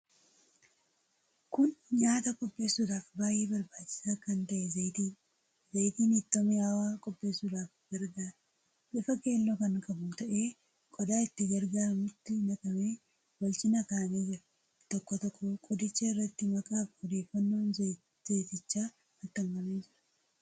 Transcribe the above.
Kun nyaata qopheessuudhaaf baay'ee barbaachisaa kan ta'e zayitiidha. Zayitiin ittoo miyaawaa qopheessuudhaaf gargaara. Bifa keelloo kan qabu ta'ee qodaa itti gurguramutti naqamee wal cina kaa'amee jira. Tokkoo tokkoo qodichaa irratti maqaafi odeeffannoon zayitichaa maxxanfamee jira.